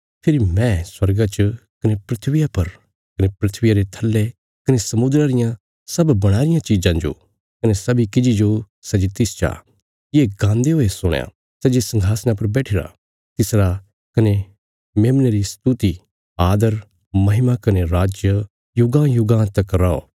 फेरी मैं स्वर्गा च कने धरतिया पर कने धरतिया रे थल्ले कने समुद्रा रियां सब बणाई रियां चिज़ां जो कने सब्बीं किजि जो सै जे तिस चा ये गान्दे हुये सुणया सै जे संघासणा पर बैठिरा तिसरा कने मेमने री स्तुति आदर महिमा कने राज युगांयुगां तक रौ